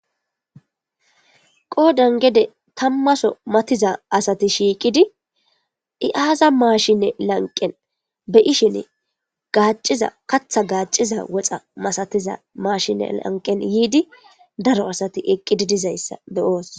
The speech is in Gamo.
Qoodan gede tammaso matattiza asati shiiqidi izi aaza maashshine lanqen be7ishin kaththa gaacciza woxa masatiza maashine lanqen yiidi daro asati eqqidaysa be7oos.